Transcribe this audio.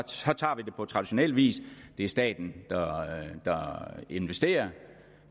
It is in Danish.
tager vi det på traditionel vis det er staten der investerer